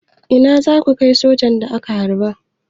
Ina za su kai sojan da aka harba?